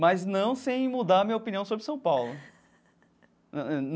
Mas não sem mudar a minha opinião sobre São Paulo.